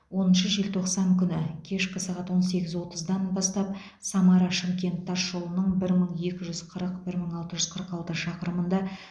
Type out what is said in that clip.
оныншы желтоқсан күні кешкі сағат он сегіз отыздан бастап самара шымкент тасжолының бір мың екі жүз қырық бір мың алты жүз қырық алты шақырымында